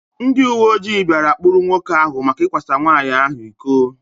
Ndị uwe ojii bia kpụrụ nwoke áhù maka ikwa sa nwanyị ahụ ịkọ